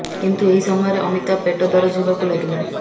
କିନ୍ତ ଏହି ସମୟରେ ଅମିତାଭ ପେଟ ଦରଜ ହେବାକୁ ଲାଗିଲା